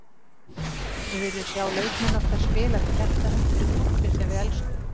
Við viljum sjá leikmenn okkar spila með hjartanu- fyrir klúbbinn sem við elskum.